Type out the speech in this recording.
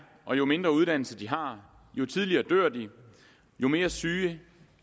og jo mindre uddannelse de har jo tidligere dør de jo mere syge